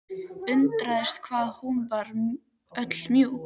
Undraðist hvað hún var öll mjúk.